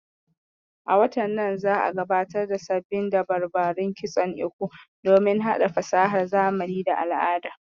A watan nan za'a gabatar da sabbin dabarbarun kitson Iko domin haɗa fasahar zamani da al'ada